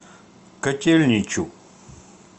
котельничу